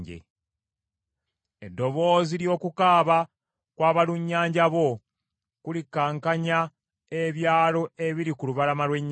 Eddoboozi ly’okukaaba kw’abalunnyanja bo, kulikankanya ebyalo ebiri ku lubalama lw’ennyanja.